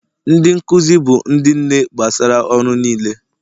Ndị nkuzi bụ ndị nne gbasara ọrụ niile